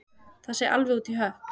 Það sé alveg út í hött